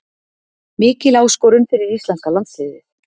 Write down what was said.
Mikil áskorun fyrir íslenska landsliðið